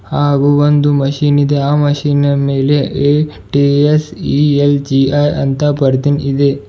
ಹಾಗು ಒಂದು ಮಷೀನ್ ಇದೆ ಆ ಮಷೀನ್ ನ ಮೇಲೆ ಎ_ಟಿ_ಎಸ್ ಇ_ಎಲ್_ಜಿ_ಐ ಅಂತ ಬರದಿನ್ ಇದೆ.